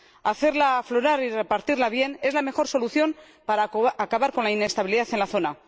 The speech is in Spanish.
hacerla aflorar y repartirla bien es la mejor solución para acabar con la inestabilidad en la zona.